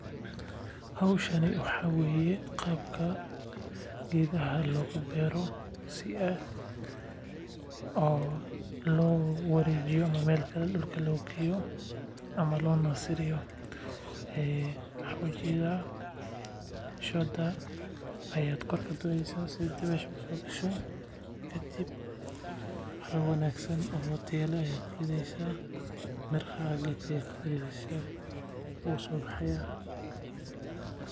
Howshan waxaa waye qaabka geedaha loo beero si loo wareejiyo meel kale loo geeyo shooda ayaa kor kadureysa si hawa usoo gasho miraha ayaa kurideysa wuu soo baxaaya.